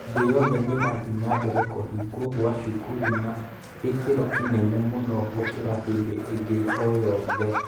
Thĩ yothe nĩ ĩrathiĩ na mbere kũhingwo kwa cukuru na gĩkĩro kĩnene mũno gũkĩra hĩndĩ ĩngĩ o yothe.